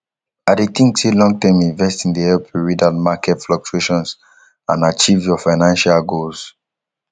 i dey think say longterm investing dey help you rid out market fluctuations and achieve your financial goals